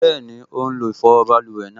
Bẹ́ẹ̀ni, ó n lo ìfọwọ́ báluwẹ̀ náà